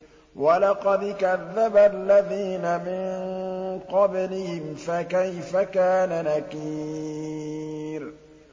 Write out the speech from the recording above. وَلَقَدْ كَذَّبَ الَّذِينَ مِن قَبْلِهِمْ فَكَيْفَ كَانَ نَكِيرِ